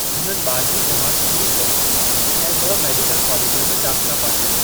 हुननि ॿारहीं जमात पूरी कई ऐं ब॒ मेडिकल कॉलेजनि में दाख़िला पाती।